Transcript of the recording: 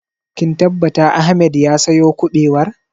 Kin tabbata Ahmed ya sayo ƙubewar?